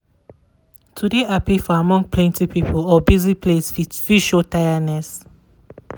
to de happy for among plenty people or busy place fit fit show tireness.